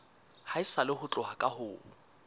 haesale ho tloha ka ho